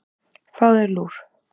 Fáðu þér lúr.